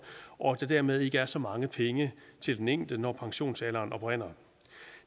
og at der dermed ikke er så mange penge til den enkelte når pensionsalderen oprinder